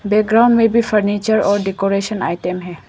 बैकग्राउ में भी फर्नीचर और डेकोरेशन आइटम है।